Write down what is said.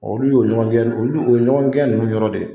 Olu y'o ɲɔgɔngɛn olu o ye ɲɔgɔngɛn ninnu yɔrɔ de